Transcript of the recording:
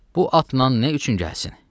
Bu atla nə üçün gəlsin?